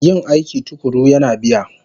Yin aiki tuƙuru yana biya